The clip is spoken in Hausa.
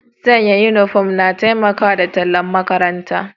San' uniform na taimaka da tallan' makarantan.